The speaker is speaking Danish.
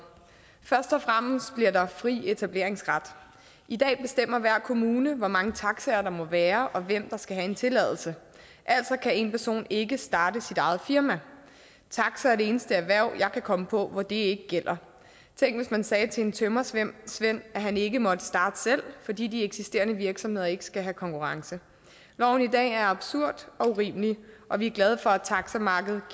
først og fremmest bliver der fri etableringsret i dag bestemmer hver kommune hvor mange taxaer der må være og hvem der skal have en tilladelse altså kan én person ikke starte sit eget firma taxa er det eneste erhverv jeg kan komme på hvor det gælder tænk hvis man sagde til en tømrersvend at han ikke måtte starte selv fordi de eksisterende virksomheder ikke skal have konkurrence loven i dag er absurd og urimelig og vi er glade for at taxamarkedet